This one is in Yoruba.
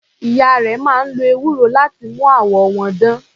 Ìyá rẹ̀ máa ń lo ewúro láti mú àwọ̀ wọn dán.